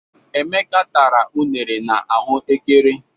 Emeka tara unere na ahụ ékẹrè.